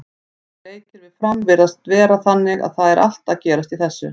Þessir leikir við Fram virðast vera þannig að það er allt að gerast í þessu.